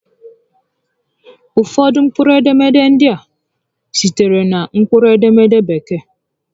Ụfọdụ mkpụrụ edemede ndị a sitere na mkpụrụ edemede Bekee